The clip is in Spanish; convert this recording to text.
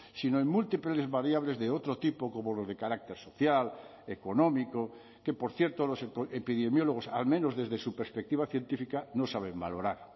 sino en múltiples variables de otro tipo como los de carácter social económico que por cierto los epidemiólogos al menos desde su perspectiva científica no saben valorar